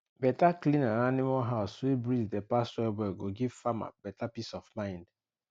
better clean and animal house wey breeze dey pass well well go give farmer beta peace of mind